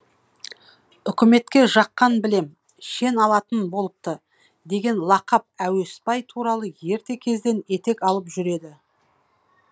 үкіметке жаққан білем шен алатын болыпты деген лақап әуесбай туралы ерте кезден етек алып жүр еді